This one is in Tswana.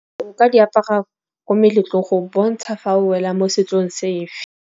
Nka di apara ko meletlogong go bontsha fa o wela mo setsong sefe.